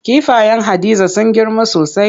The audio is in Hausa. Kifayen Hadiza sun girma sosai.